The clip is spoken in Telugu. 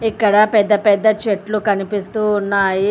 ఇక్కడ పెద్ద పెద్ద చెట్లు కనిపిస్తూ ఉన్నాయి.